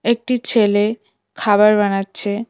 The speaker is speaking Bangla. একটি ছেলে খাবার বানাচ্ছে।